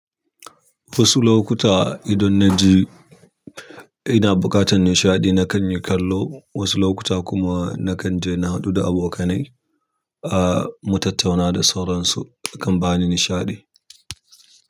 Wasu lokuta idan na ji ina buƙatar nishaɗi, na kan yi kallo. Wasu lokuta kuma nakan je nahadu da abokanai, ah mutattauna dasauransu, sukan bani nishaɗi.